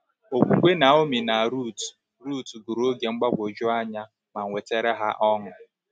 Okwukwe Naomi na Ruth Ruth gụrụ oge mgbagwoju anya ma wetara ha ọṅụ.